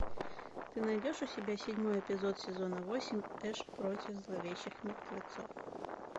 ты найдешь у себя седьмой эпизод сезона восемь эш против зловещих мертвецов